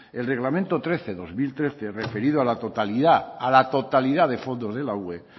el reglamento trece barra dos mil trece referido a la totalidad a la totalidad de fondos de la ue